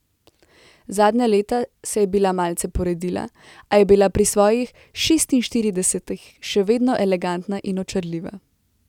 Zadnja leta se je bila malce poredila, a je bila pri svojih šestinštiridesetih še vedno elegantna in očarljiva.